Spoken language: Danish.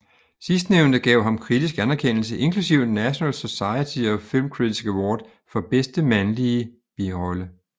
Sidstnævnte gav ham kritisk anerkendelse inklusiv National Society of Film Critics Award for bedste mandlige birolle